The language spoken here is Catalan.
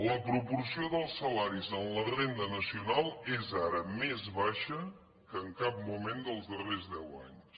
la proporció dels salaris amb la renda nacional és ara més baixa que en cap moment dels darrers deu anys